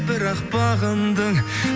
бірақ бағындың